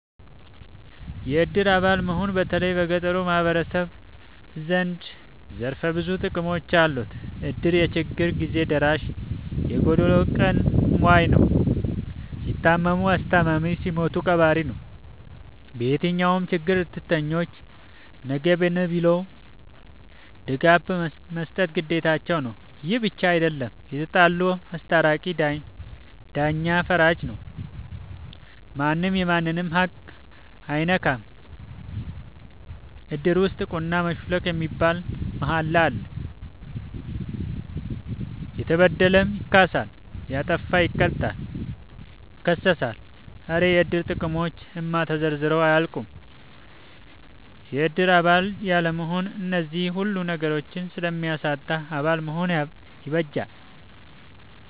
የእድር አባል መሆን በተለይም በገጠሩ ማህበረሰብ ዘንድ ዘርፈ ብዙ ጥቅሞች አሉት። እድር የችግር ግዜ ደራሽ የጎዶሎ ቀን ሞይ ነው። ሲታመሙ አስተማሚ ሲሞቱ ቀባሪ ነው። በየትኛውም ችግር እድርተኞች ነግበኔ ብለው ድጋፍ መስጠት ግዴታቸው ነው። ይህ ብቻ አይደለም የተጣሉ አስታራቂ ዳኛ ፈራጂ ነው ማንም የማንንም ሀቅ አይነካም እድር ውስጥ ቁና መሹለክ የሚባል ማሀላ አለ። የተበደለም ይካሳል ያጠፋ ይቀጣል ይከሰሳል። ኧረ የእድር ጥቅሞች እማ ተዘርዝረው አያልቁም። የእድር አባል ያለመሆን አነዚህን ሁሉ ነገሮች ስለሚያሳጣ አባል መሆን ይበጃል።